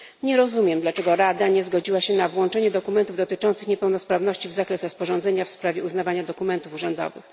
Nie rozumiem, dlaczego Rada nie zgodziła się na włączenie dokumentów dotyczących niepełnosprawności w zakres rozporządzenia w sprawie uznawania dokumentów urzędowych.